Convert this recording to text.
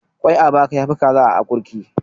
Ƙwai a baka ya fi kaza a akurki.